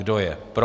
Kdo je pro?